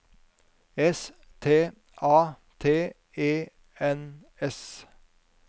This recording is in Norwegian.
S T A T E N S